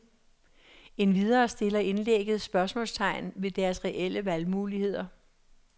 Endvidere stiller indlægget spørgsmålstegn ved deres reelle valgmuligheder.